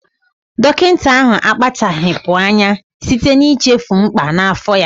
Dọkịta ahụ akpachapụghị anya site n'ichefu mkpà n'afọ ya